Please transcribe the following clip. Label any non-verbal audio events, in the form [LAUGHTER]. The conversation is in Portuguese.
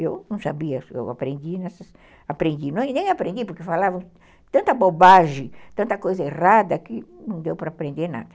Eu não sabia, só aprendi, [UNINTELLIGIBLE] nem aprendi porque falavam tanta bobagem, tanta coisa errada que não deu para aprender nada.